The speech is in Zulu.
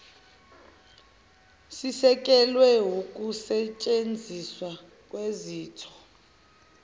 sisekelwe wukusetshenziswa kwezitho